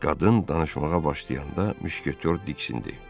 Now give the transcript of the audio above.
Qadın danışmağa başlayanda müşketor diksindi.